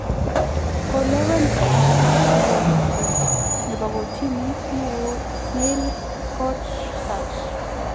Kolewen Trump kirwogindet nebo koritini neoo Neil Gorsuch